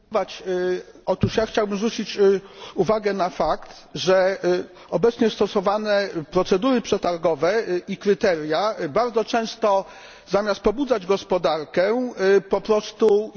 Otóż ja chciałbym zwrócić uwagę na fakt, że obecnie stosowane procedury przetargowe i kryteria bardzo często zamiast pobudzać gospodarkę po prostu ją hamują.